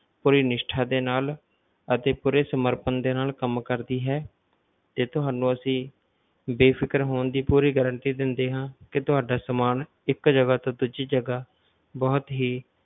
ਪੂਰੀ ਨਿਸ਼ਠਾ ਦੇ ਨਾਲ ਅਤੇ ਪੂਰੇ ਸਮਰਪਣ ਦੇ ਨਾਲ ਕੰਮ ਕਰਦੀ ਹੈ ਤੇ ਤੁਹਾਨੂੰ ਅਸੀਂ ਬੇਫਿਕਰ ਹੋਣ ਦੀ ਪੂਰੀ guarantee ਦਿੰਦੇ ਹਾਂ ਕਿ ਤੁਹਾਡਾ ਸਮਾਨ ਇੱਕ ਜਗਾ ਤੋਂ ਦੂਜੀ ਜਗਾ ਬਹੁਤ ਹੀ,